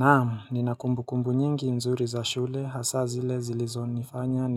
Naam, nina kumbukumbu nyingi nzuri za shule, hasa zile zilizonifanya,